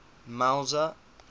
mauzer